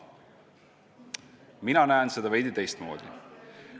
Mina näen seda veidi teistmoodi.